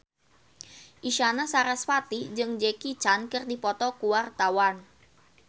Isyana Sarasvati jeung Jackie Chan keur dipoto ku wartawan